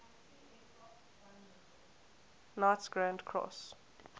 knights grand cross